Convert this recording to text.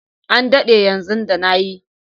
An dade yanzu da na yi.